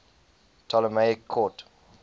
ptolemaic court